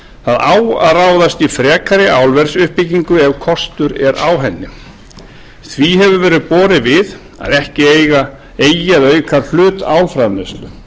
það á að ráðast í frekari álversuppbyggingu ef kostur er á henni því hefur verið borið við að ekki eigi að auka hlut álframleiðslunnar